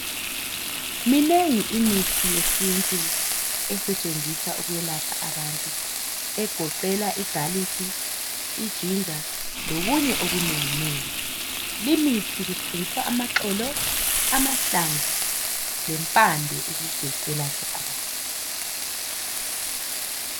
Minengi imithi yesintu esetshenziswa ukuyelapha abantu. Egoqela igalikhi, ijinja, lokunye okunenginengi. Limithi kusebenzisa amaxolo, amahlamvu lempande ukuze kuyelatshwe abantu.